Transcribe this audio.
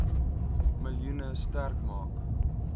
miljoen sterk maak